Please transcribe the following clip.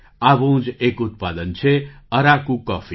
આવું જ એક ઉત્પાદન છે અરાકુ કૉફી